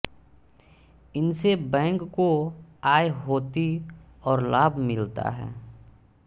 इनसे बैंक को आय होती और लाभ मिलता है